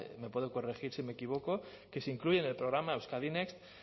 me puede corregir si me equivoco que se incluyen en el programa euskadi next